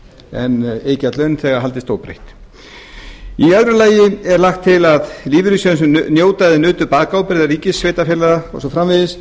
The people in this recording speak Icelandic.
en iðgjald launþega haldist óbreytt í öðru lagi er lagt til að lífeyrissjóðir sem njóta eða nutu bakábyrgðar ríkis sveitarfélags og svo framvegis